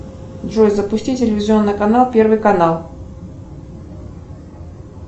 джой запусти телевизионный канал первый канал